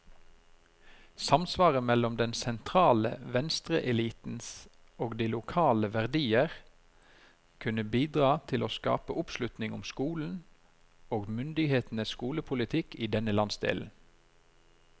Samsvaret mellom den sentrale venstreelitens og de lokale verdier kunne bidra til å skape oppslutning om skolen, og myndighetenes skolepolitikk i denne landsdelen.